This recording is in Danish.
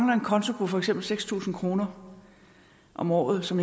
var en konto på for eksempel seks tusind kroner om året som